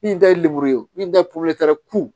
Min ta ye lemuru ye min tɛ